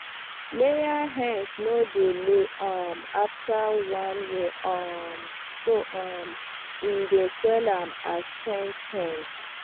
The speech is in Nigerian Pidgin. layer hens no dey lay um after one year um so um we dey sell am as spent hen